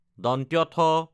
থ